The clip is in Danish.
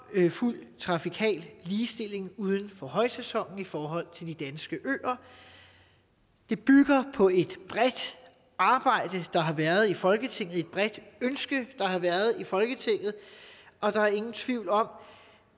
fuld trafikal ligestilling uden for højsæsonen i forhold til de danske øer det bygger på et bredt arbejde der har været i folketinget og et bredt ønske der har været i folketinget og der er ingen tvivl om